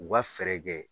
U ka fɛɛrɛ kɛ